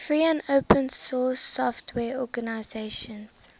free and open source software organizations